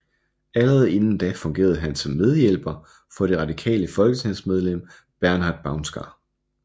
Allerede inden da fungerede han som medhjælper for det radikale folketingsmedlem Bernhard Baunsgaard